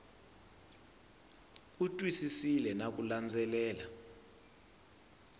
u twisisile na ku landzelela